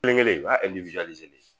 Kelen kelen o y'a de ye